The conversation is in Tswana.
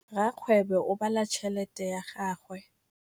Rakgwêbô o bala tšheletê ya gagwe.